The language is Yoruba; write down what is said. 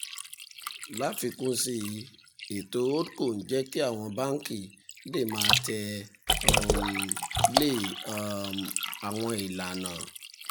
láfikún sí i ètò holdco ń jẹ́ kí àwọn báńkì lè máa tẹ̀ um lé um àwọn um ìlànà